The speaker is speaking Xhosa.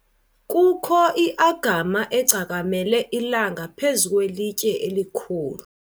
kukho i-agama egcakamele ilanga phezu kwelitye elikhulu